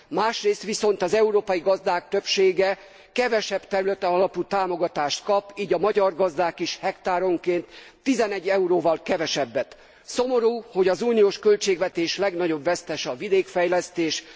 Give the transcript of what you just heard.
Másrészt viszont az európai gazdák többsége kevesebb területalapú támogatást kap, így a magyar gazdák is hektáronként 11 euróval kevesebbet. Szomorú, hogy az uniós költségvetés legnagyobb vesztese a vidékfejlesztés.